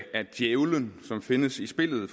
at djævelen findes i spillet